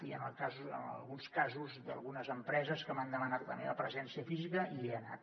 i en alguns casos d’algunes empreses que m’han demanat la meva presència física hi he anat